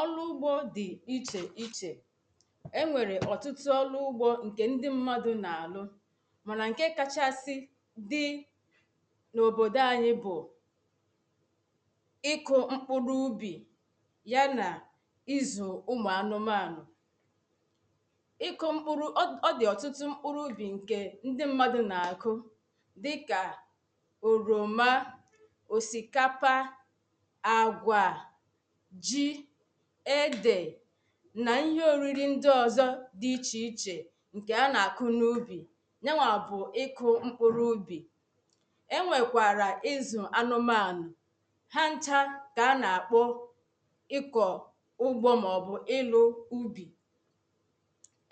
Ọrụ ugbo dị iche iche E nwere ọtụtụ ọrụ ugbo nke ndị mmadụ na-alụ mana nke kachasị dị n'obodo anyị bụ ịkụ mkpụrụ ubi ya na ịzụ ụmụ anụmanụ iku mkpụrụ Ọ dị ọtụtụ mkpụrụ ubi nke ndị mmadụ na-akụ dịka oroma osikapa agwa ji ede na ihe oriri ndị ọzọ dị iche iche nke a na-akụ n'ubi Yanwa bụ ịkụ ịkụ mkpụrụ ubi e nwekwara ịzụ anụmanụ ha ncha ka a na-akpọ ịkọ ụgbọ maọbụ ịlụ ubi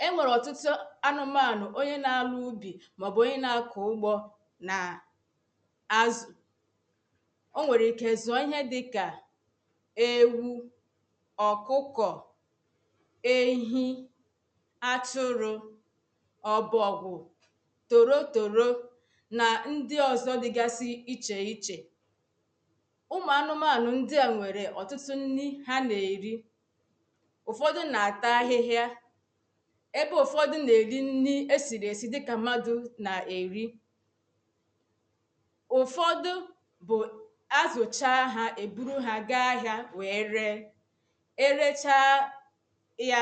E nwere ọtụtụ anụmanụ onye na-alụ ubi maọbụ onye na-akọ ugbo na azu O nwere ike zụọ ihe dịka ewu ọkụkọ ehi atụrụ ọbọgwụ torotoro na ndị ọzọ dịgasị iche iche Ụmụ anụmanụ ndị a nwere ọtụtụ nri ha na-eri Ụfọdụ na-ata ahịhịa ebe ụfọdụ na-eri nri esiri esi dịka mmadụ na-eri Ụfọdụ bụ a zụchaa ha, e buru ha gaa ahịa wee ree erechaa ya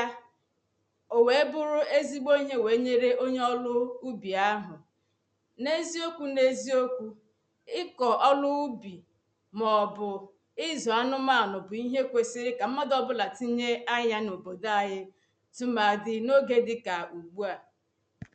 o wee bụrụ ezigbo ihe wee nyere onye ọrụ ubi ahụ n'eziokwu n'eziokwu ịkọ ọrụ ubi maọbụ ịzụ anụmanụ bụ ihe kwesịrị ka mmadụ ọbụla tinye anya n'obodo anyị tumadi n'oge dịka ugbu a